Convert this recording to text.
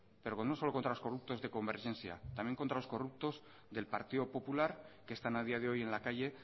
pero no solo contra los corruptos de convergencia también contra los corruptos del partido popular que están a día de hoy en la calle